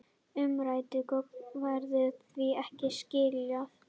Umræddum gögnum verður því ekki skilað